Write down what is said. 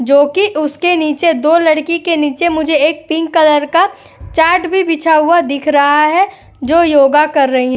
जो कि उसके नीचे दो लड़की के नीचे मुझे एक पिंक कलर का चार्ट भी बिछा हुआ दिख रहा है जो योगा कर रही --